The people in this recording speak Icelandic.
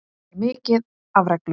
Það er mikið af reglum.